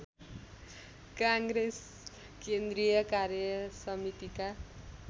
काङ्ग्रेस केन्द्रीय कार्यसमितिका